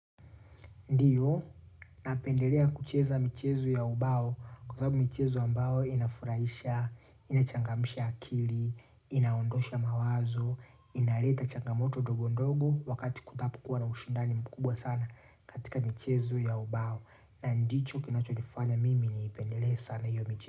Ndiyo, napendelea kucheza michezo ya ubao kwa sababu michezo ya mbao inafurahisha, inachangamsha akili, inaondosha mawazo, inaleta changamoto dogo ndogo wakati kutapo kuwa na ushindani mkubwa sana katika michezo ya ubao na ndicho kinacho nifanya mimi ni ipendelea sana hiyo michezo.